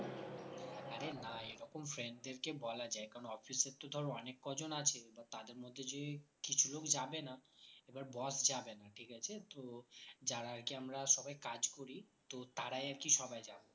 আর এ না এইরকম friends দের কে বলা যায় কারণ office এ তো ধরে অনেক কজন আছে বা তাদের মধ্যে যে কিছুলোক যাবে না এবার boss যাবে না ঠিক আছে তো যারা আরকি আমরা সবাই কাজ করি তো তারাই আরকি সবাই যাবে